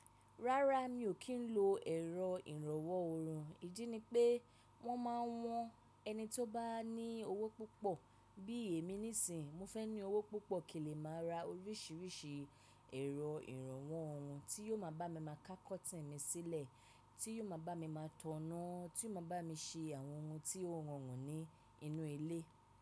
Rárá mi ò kí ń lo ẹ̀rọ ìrànwọ́ orùn. Idí ni pé wọ́n máa ń wọn ẹni tí ó bá ní owó púpọ̀. Bí èmi níìsín, mo fẹ́ ní owó púpọ̀ kí lè máa ra oríṣiríṣi ẹ̀rọ ìrànwọ́ ọrùn tí yóò máa bá mi máa ká kọtìn mi sílẹ̀, tí yóò máa bá mi máa tọná, tí yóò máa bá mi ṣe àwọn ohun tí ó rọrùn ní inú ilé.